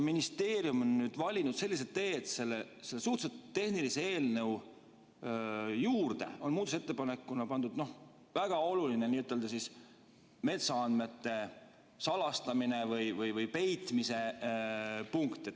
Ministeerium on nüüd valinud sellise tee, et selle suhteliselt tehnilise eelnõu juurde on muudatusettepanekuna pandud väga oluline n‑ö metsaandmete salastamise või peitmise punkt.